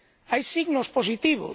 Hay signos positivos.